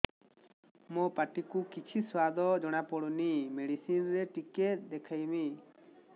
ମୋ ପାଟି କୁ କିଛି ସୁଆଦ ଜଣାପଡ଼ୁନି ମେଡିସିନ ରେ ଟିକେ ଦେଖେଇମି